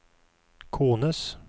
kones